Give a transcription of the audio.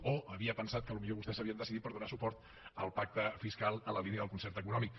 o havia pensat que potser vostès s’havien decidit per donar suport al pacte fiscal en la línia del concert econòmic